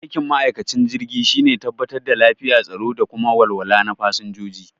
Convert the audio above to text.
Aikin ma'aikacin jirgi shine tabbatar da lafiya, tsaro da kuma walwala na fasanjoji